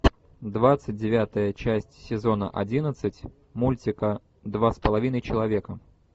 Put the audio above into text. двадцать девятая часть сезона одиннадцать мультика два с половиной человека